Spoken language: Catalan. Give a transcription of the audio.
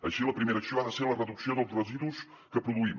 així la primera acció ha de ser la reducció dels residus que produïm